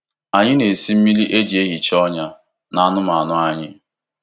Anyị na-esi mmiri e ji ehicha ọnyá n’anụmanụ anyị.